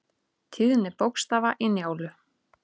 Tíðni bókstafa í Njálu.